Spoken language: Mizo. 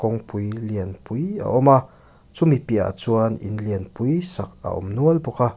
kawng pui lian pui a awm a chu mi piahah chuan in lian pui sak a awm nual bawk a.